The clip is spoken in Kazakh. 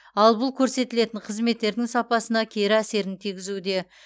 ал бұл көрсетілетін қызметтердің сапасына кері әсерін тигізуде